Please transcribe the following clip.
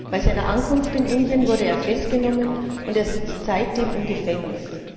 Bei seiner Ankunft in Indien wurde er festgenommen und sitzt seitdem im Gefängnis.